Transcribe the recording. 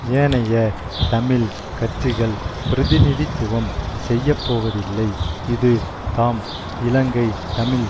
ஏனைய தமிழ் கட்சிகள் பிரதிநிதித்துவம் செய்யப்போவதில்லை இது தாம் இலங்கை தமிழ்